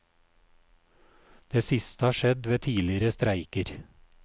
Det siste har skjedd ved tidligere streiker.